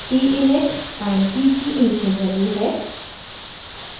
t init time t की initial value है